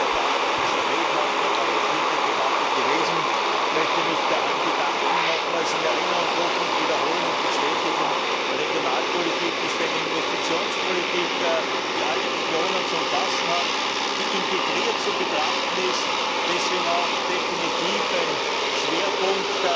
Das ist in der Tat eine sehr lebhafte und engagierte Debatte gewesen. Ich möchte mich bei allen bedanken und nochmals in Erinnerung rufen und wiederholen und bestätigen Regionalpolitik ist eine Investitionspolitik, die alle Regionen zu umfassen hat, die integriert zu betrachten ist, deswegen auch definitiv ein Schwerpunkt